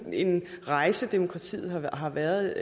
rejse demokratiet har været